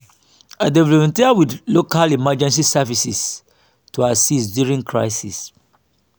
i dey volunteer with local emergency services to assist during crisis.